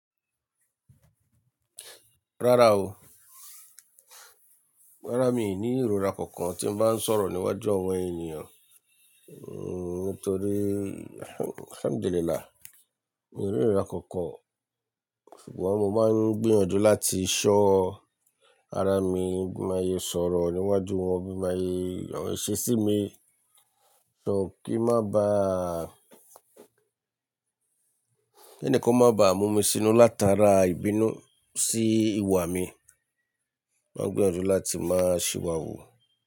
Rárá o, rárá mi i ní ìrora kankan tí n bá ń sọ̀rọ̀ níwájú àwọn ènìyàn. Nítorí alhamdulilah. Mi ò ní ìrora kankan. Ṣùgbọ́n mo máa ń gbìyànjú láti ṣọ́ ara mi, bí mo ye sọ̀rọ̀ níwájú wọn, bí mo ye àwọn iṣesí mi. Kí má ba, ki ẹnikan ó má ba mú mi sínú látara ìbínú sí ìwà mi. Máa ń gbìyànjú láti máa ṣìwàhù.